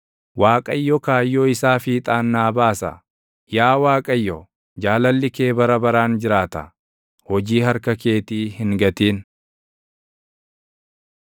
Waaqayyo kaayyoo isaa fiixaan naa baasa; yaa Waaqayyo, jaalalli kee bara baraan jiraata; hojii harka keetii hin gatin.